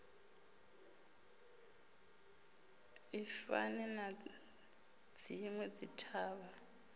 i fani na dzinwe dzithavha